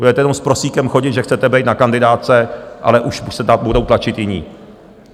Budete jenom s prosíkem chodit, že chcete být na kandidátce, ale už se tam budou tlačit jiní.